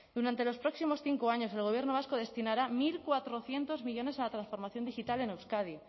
durante los próximos cinco años el gobierno vasco destinará mil cuatrocientos millónes a la transformación digital en euskadi